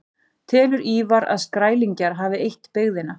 Telur Ívar að Skrælingjar hafi eytt byggðina.